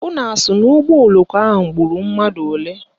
Unu asị na ụgbọoloko ahụ gburu mmadụ ole?